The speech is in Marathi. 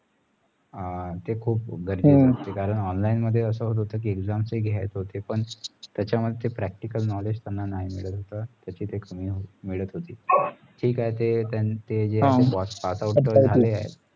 ते खुप गर्जेचा असत करणं online मध्ये असं होत होता कि exams ते घेत होते पण त्याचा मध्ये practical knowledge त्याना नाही मिळेत होता त्याची एक कमी मिळत होती ठीक आहे ते त्यानी